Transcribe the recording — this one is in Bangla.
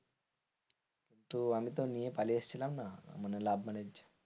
আমি তো নিয়ে পালিয়ে এসছিলাম না মানে love marriage,